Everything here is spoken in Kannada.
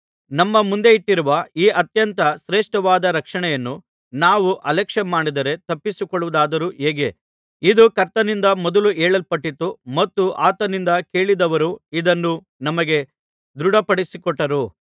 ನಮ್ಮ ಮುಂದಿಟ್ಟಿರುವ ಈ ಅತ್ಯಂತ ಶ್ರೇಷ್ಠವಾದ ರಕ್ಷಣೆಯನ್ನು ನಾವು ಅಲಕ್ಷ್ಯ ಮಾಡಿದರೆ ತಪ್ಪಿಸಿಕೊಳ್ಳುವುದಾದರೂ ಹೇಗೆ ಇದು ಕರ್ತನಿಂದ ಮೊದಲು ಹೇಳಲ್ಪಟ್ಟಿತು ಮತ್ತು ಆತನಿಂದ ಕೇಳಿದವರು ಇದನ್ನು ನಮಗೆ ದೃಢಪಡಿಸಿಕೊಟ್ಟರು